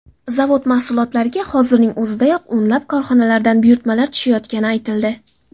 Zavod mahsulotlariga hozirning o‘zidayoq o‘nlab korxonalardan buyurtmalar tushayotgani aytildi.